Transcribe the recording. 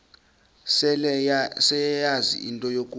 seleyazi into yokuba